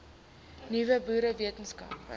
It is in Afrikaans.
nuwe boere wetenskaplike